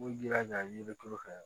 U b'u jilaja i ye yirituru kɛ